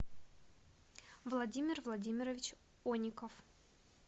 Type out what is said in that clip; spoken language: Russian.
владимир владимирович оников